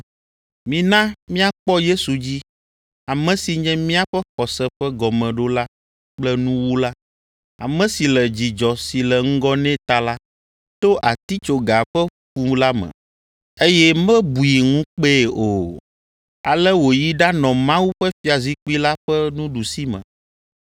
Mina míakpɔ Yesu dzi, ame si nye míaƒe xɔse ƒe gɔmeɖola kple nuwula, ame si le dzidzɔ si le ŋgɔ nɛ ta la, to atitsoga ƒe fu la me, eye mebui ŋukpee o. Ale wòyi ɖanɔ Mawu ƒe fiazikpui la ƒe nuɖusime.